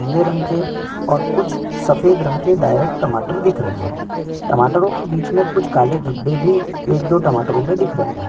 नीले रंग के और कुछ सफ़ेद रंग के डायरेक्ट टमाटर दिख रहै है टमाटरों के बीचे में कुछ काले धब्बे भी एक दो टमाटरों में दिख रहै हैं।